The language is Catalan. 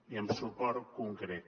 i amb suport concret